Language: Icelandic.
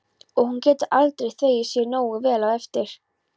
Og hún getur aldrei þvegið sér nógu vel á eftir.